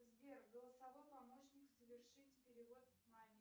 сбер голосовой помощник совершить перевод маме